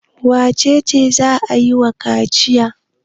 Wace ce za a yi wa kaciya?